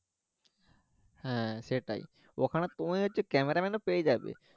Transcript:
হ্যাঁ সেটাই ওখানে তুমি হচ্ছে cameraman ও পেয়ে যাবে